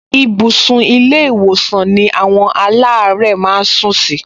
Ibùsùn ilé-ìwòsàn ni àwọn aláàárẹ̀ máa ń sún sí